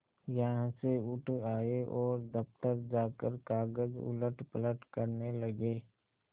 यहाँ से उठ आये और दफ्तर जाकर कागज उलटपलट करने लगे